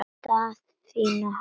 Daðína horfði gáttuð á Jón.